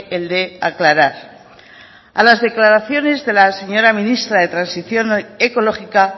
el de aclarar a las declaraciones de la señora ministra de transición ecológica